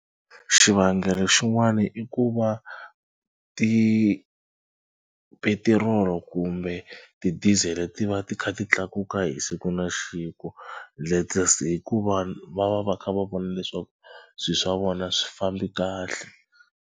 Xivangelo xin'wana i ku va tipetirolo kumbe tidizele ti va ti kha ti tlakuka hi siku na siku hikuva va va va kha va vona leswaku swilo swa vona swi fambi kahle.